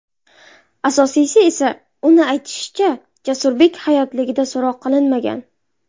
Asosiysi esa, uning aytishicha, Jasurbek hayotligida so‘roq qilinmagan.